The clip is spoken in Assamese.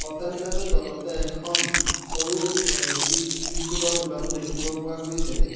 অট্টালিকাটোৰ তলতে এখন সৰু ব চিপ্ছ বিস্কুটৰ দোকানও দেখিব পোৱা গৈছে।